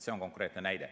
See on konkreetne näide.